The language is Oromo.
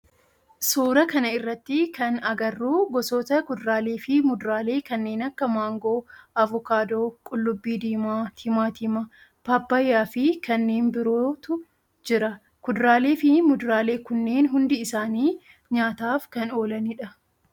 Suuraa kana irratti kan agarru gosoota kuduraalee fi muduraalee kanneen akka maangoo, avokaadoo, qullubbii diimaa, timaatima, paappayyaa fi kanneen birootu jira. Kuduraalee fi muduraalee kunneen hundi isaanii nyaataf kan oolanidha.